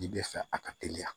Ji bɛ fɛ a ka teliya